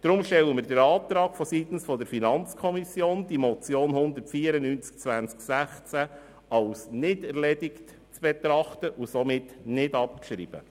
Deshalb stellen wir vonseiten der FiKo den Antrag, die Motion 194-2016 als nicht erledigt zu betrachten und somit nicht abzuschreiben.